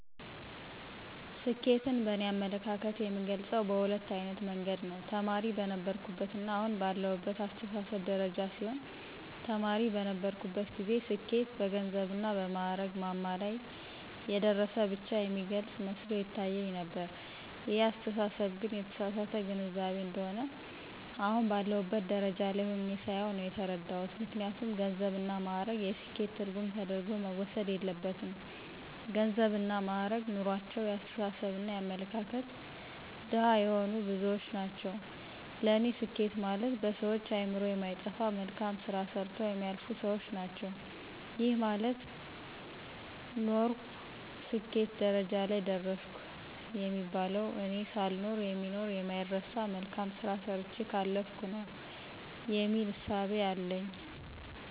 ስኬትን በእኔ አመለካከት የምገልጸው በሁለት አይነት መንገድ ነው። ተማሪ በነበርሁበትና አሁን ባለሁበት አስተሳሰብ ደረጃ ሲሆን ተማሪ በነበርሁበት ጊዜ ስኬት በገንዘብና በማእረግ ማማ ላይ የደረሰ ብቻ የሚገልጽ መስሎ ይታየኝ ነበር ይሄ አስተሳሰብ ግን የተሳሳተ ግንዛቤ እንደሆነ አሁን ባለሁበት ደረጃ ላይ ሁኘ ሳየው ነው የተረዳሁት። ምክንያቱም ገንዘብና ማእረግ የስኬት ትርጉም ተደርጎ መወሰድ የለበትም ገንዘብና ማእረግ ኑሮአቸው የአስተሳሰብና የአመለካከት ድሀ የሆኑ ብዙዎች ናቸው ለኔ ስኬት ማለት በሰዎች አእምሮ የማይጠፋ መልካም ስራ ሰርተው የሚያልፉ ሰዎች ናቸው። ይሄ ማለት ኖርሁ ስኬት ደረጃ ላይ ደረሰሁ የሚባለው እኔ ሳልኖር የሚኖር የማይረሳ መልካም ስራ ሰርቸ ካለፍሁ ነው የሚል እሳቤ አለኝ።